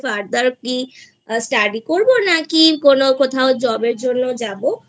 Further কি Study করবো নাকি কোনো কোথাও Job এর জন্য যাবো?